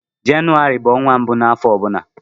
Jenụwarị bu ọnwa mbụ n'afọ ọbụla.